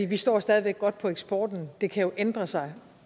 vi står stadig væk godt på eksporten det kan jo ændre sig